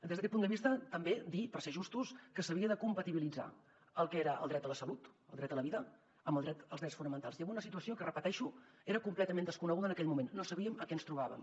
des d’aquest punt de vista també dir per ser justos que s’havia de compatibilitzar el que era el dret a la salut el dret a la vida amb els drets fonamentals i amb una situació que ho repeteixo era completament desconeguda en aquell moment no sabíem què ens trobàvem